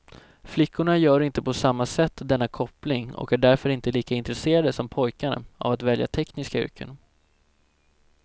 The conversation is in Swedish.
Flickorna gör inte på samma sätt denna koppling och är därför inte lika intresserade som pojkarna av att välja tekniska yrken.